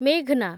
ମେଘ୍‌ନା